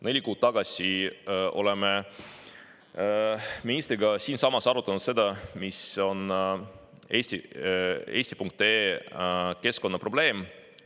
Neli kuud tagasi arutasime ministriga siinsamas seda, mis on eesti.ee keskkonna probleem.